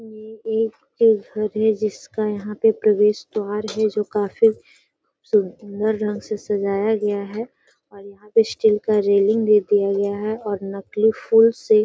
ये एक जिसका यहाँ पे प्रवेश द्वार है जो काफी सुन्दर रंग से सजाया गया है और यहाँ पे स्टील का रेलिंग भी दिया गया है और नकली फूल से --